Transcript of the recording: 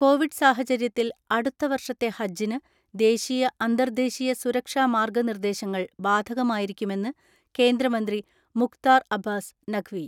Covid സാഹചര്യത്തിൽ അടുത്ത വർഷത്തെ ഹജ്ജിന് ദേശീയ, അന്തർദേശീയ സുരക്ഷാ മാർഗനിർദേശങ്ങൾ ബാധകമായിരിക്കുമെന്ന് കേന്ദ്രമന്ത്രി മുഖ്താർ അബ്ബാസ് നഖ് വി.